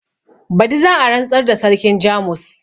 Badi za a rantsar da sarkin jamus